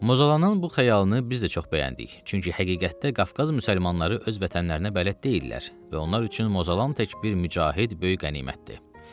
Mozalanın bu xəyalını biz də çox bəyəndik, çünki həqiqətdə Qafqaz müsəlmanları öz vətənlərinə bələd deyillər və onlar üçün Mozalan tək bir mücahid böyük qənimətdir.